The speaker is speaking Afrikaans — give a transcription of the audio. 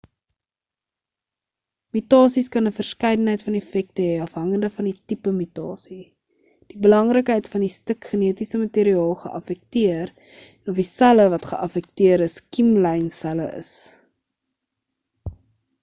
mutasies kan 'n verskeidenheid van effekte hê afhangend van die tipe mutasie die belangrikheid van die stuk genetiese materiaal geaffekteer en of die selle wat geaffekteer is kiem-lyn selle is